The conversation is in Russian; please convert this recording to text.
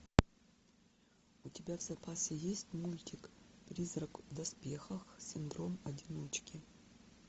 у тебя в запасе есть мультик призрак в доспехах синдром одиночки